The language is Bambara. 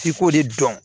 F'i k'o de dɔn